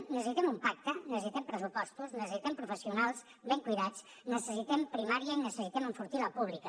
necessitem un pacte necessitem pressupostos necessitem professionals ben cuidats necessitem primària i necessitem enfortir la pública